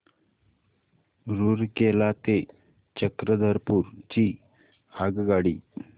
रूरकेला ते चक्रधरपुर ची आगगाडी